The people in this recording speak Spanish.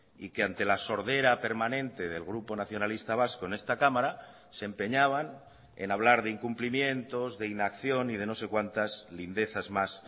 y que ante la sordera permanente del grupo nacionalista vasco en esta cámara se empeñaban en hablar de incumplimientos de inacción y de no sé cuantas lindezas más